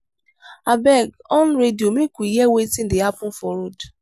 abeg on radio make we hear wetin dey happen for road